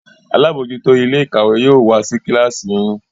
àlabòjuto Ilé-ìkàwé yóò wá sí kilasi yín